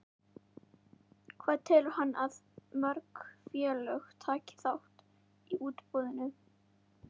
Hvað telur hann að mörg félög taki þátt í útboðinu?